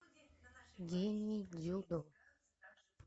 гений дзюдо